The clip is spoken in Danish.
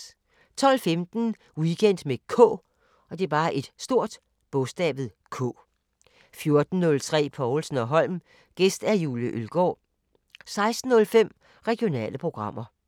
12:15: Weekend med K 14:03: Povlsen & Holm: Gæst Julie Ølgaard 16:05: Regionale programmer